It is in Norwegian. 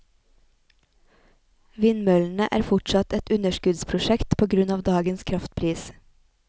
Vindmøllene er fortsatt et underskuddsprosjekt på grunn av dagens kraftpris.